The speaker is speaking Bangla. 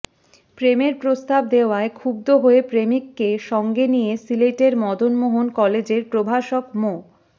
প্রেমের প্রস্তাব দেয়ায় ক্ষুব্ধ হয়ে প্রেমিককে সঙ্গে নিয়ে সিলেটের মদন মোহন কলেজের প্রভাষক মো